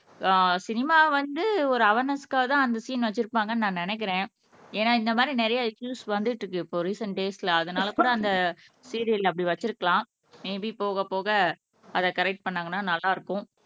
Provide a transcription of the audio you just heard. ஆஹ் cinema வந்து ஒரு அவார்னேஸ்க்காகதான் அந்த சீன் வச்சிருப்பாங்கன்னு நான் நினைக்கிறேன் ஏன்னா இந்த மாரி நிறைய இஸ்ஸுஸ் வந்துட்டிருக்கு இப்போ ரிசென்ட் டேஸ்ல அதனால கூட அந்த சீரியல்ல அப்படி வச்சுருக்கலாம் மேபி போக போக அதை கரெக்ட் பண்ணாங்கன்னா நல்லா இருக்கும்